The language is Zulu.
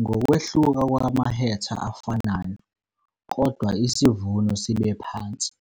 Ngokwehluka kwamahetha afanayo kodwa isivuno sibe phansi,